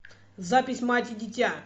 запись мать и дитя